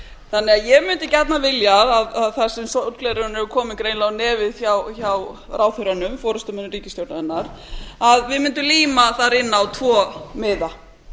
þjóðargjaldþrots ég mundi gjarnan vilja að þar sem sólgleraugun eru komin greinilega á nefið hjá ráðherrunum forustumönnum ríkisstjórnarinnar að við mundum líma þar inn á tvo miða